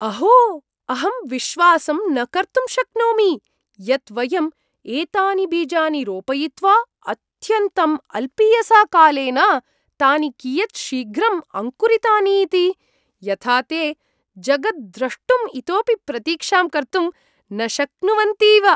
अहो, अहं विश्वासं न कर्तुं शक्नोमि यत् वयं एतानि बीजानि रोपयित्वा अत्यन्तं अल्पीयसा कालेन तानि कियत् शीघ्रं अङ्कुरितानि इति। यथा ते जगद्रष्टुम् इतोपि प्रतीक्षां कर्तुं न शक्नुवन्तीव ।